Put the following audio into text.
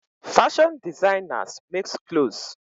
Fashion designers makes clothes.